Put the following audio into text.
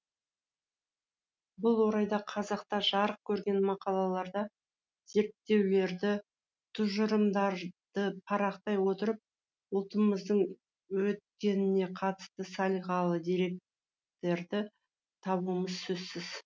бұл орайда қазақта жарық көрген мақалаларды зерттеулерді тұжырымдарды парақтай отырып ұлтымыздың өткеніне қатысты салиқалы деректерді табуымыз сөзсіз